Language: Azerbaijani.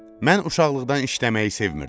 Mən uşaqlıqdan işləməyi sevmirəm.